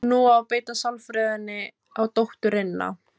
Nú á að beita sálfræðinni á dótturina.